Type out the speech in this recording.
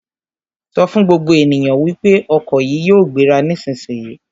Sọ fún gbogbo ènìyàn wípé ọkọ̀ yìí yóò gbéra nísisìyìí!